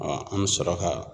an bɛ sɔrɔ ka